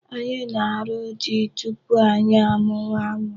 Anyị na-arụ di tupu anyị amụwa ụmụ.